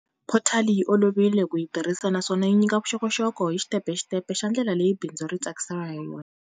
Phothali yi olovile ku yi tirhisa naswona yi nyika vuxokoxoko hi xitepe hi xitepe xa ndlela leyi bindzu ri tsarisiwaka hayona.